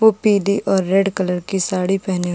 वो पिली और रेड कलर की साड़ी पहनी --